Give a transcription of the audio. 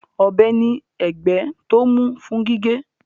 Ọ̀bẹ ní ẹ̀gbẹ́ tó mú fún gígé